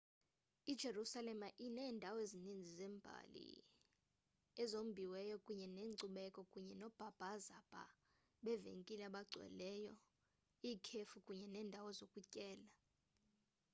ijerusalem iinendawo ezininzi zembali ezombiweyo kunye nezenkcubeko kunye noobhazabhaza beevenkile abagcweleyo iikhefi kunye neendawo zokutyela